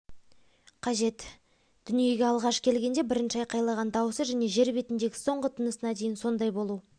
қажет дүниеге алғаш келгенде бірінші айқайлаған дауысы және жер бетіндегі соңғы тынысына дейін сондай болу